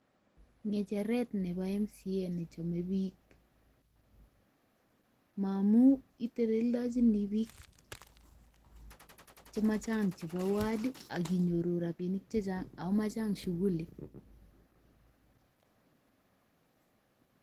Ng'echeret nebo Mca nechome biik, momu iteleldojini biik chemachang chebo ward akinyoru rabinik chechang ago machang shughuli